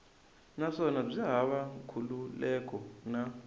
naswona byi hava nkhulukelano na